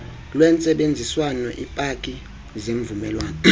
lwentsebenziswano iipaki zemvumelwano